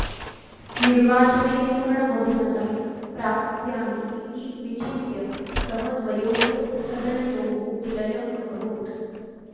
निर्वाचने पूर्णबहुमतं प्राप्स्यामि इति विचिन्त्य सः द्वयोः सदनयोः विलयम् अकरोत्